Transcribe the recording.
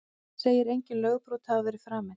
Segir engin lögbrot hafa verið framin